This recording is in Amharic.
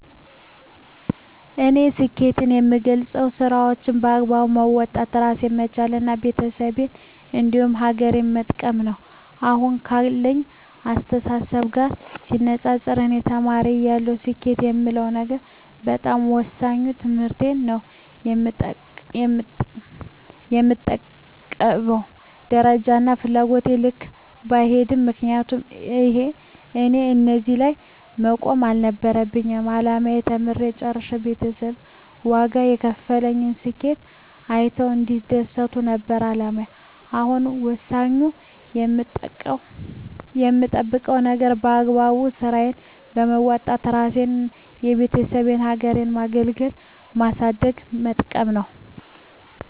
እኔ ስኬትን የምገልፀው ስራዎቸን በአግባቡ መወጣት እራሴን መቻል እና ቤተሰቤን እንዲሁም ሀገሬን መጥቀም ነው። አሁን ካለኝ አስተሳሰብ ጋር ሲነፃፀር እኔ ተማሪ እያለሁ ስኬት የምለው ነገር በጣም ወሳኙ ትምህርቴን ነው በምጠብቀው ደረጃና ፍላጎቴ ልክ ባይሄድም ምክንያቱም እኔ እዚህ ላይ መቆም አልነበረም አላማዬ ተምሬ ጨርሸ ቤተሰብ ዋጋ የከፈሉበትን ስኬቴን አይተው እንዲደሰቱ ነበር አላማዬ አሁን ወሳኙ የምጠብቀው ነገር በአግባቡ ስራዬን በወጣት እራሴንና የቤተሰቤን ሀገሬን ማገልገልና ማሳደግና መጥቀም ነው።